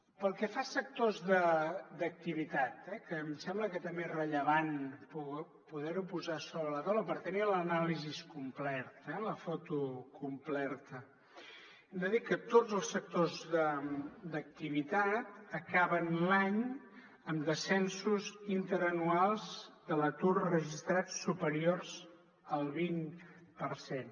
pel que fa a sectors d’activitat que em sembla que també és rellevant poder ho posar sobre la taula per tenir l’anàlisi completa la foto completa hem de dir que tots els sectors d’activitat acaben l’any amb descensos interanuals de l’atur registrat superiors al vint per cent